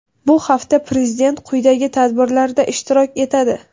Bu hafta Prezident quyidagi tadbirlarda ishtirok etadi:.